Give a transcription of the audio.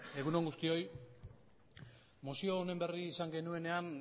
egun on guztioi mozio honen berri izan genuenean